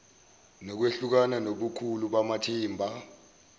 nokwehlukana ngobukhulu bamathimba